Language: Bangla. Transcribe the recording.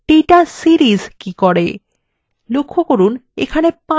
এরপর দেখা যাক data series কি করে